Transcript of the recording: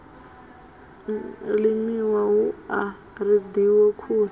limiwa hu a reḓiwa khuni